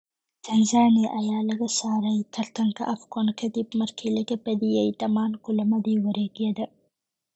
Tanzania ayaa laga saaray tartanka Afcon kadib markii laga badiyay dhamaan kulamadii wareg-yada.